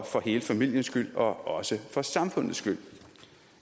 hele familien skyld og også for samfundets skyld